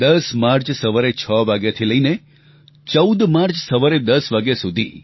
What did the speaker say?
10 March સવારે 6 વાગ્યાથી લઈને 14 માર્ચ સવારે 10 વાગ્યા સુધી